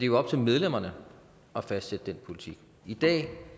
jo op til medlemmerne at fastsætte den politik i dag